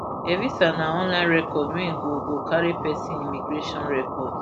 evisa na online record wey go go carry pesin immigration record